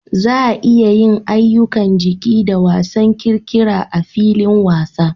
Za a iya yin ayyukan jiki da wasan ƙirƙira a filin wasa.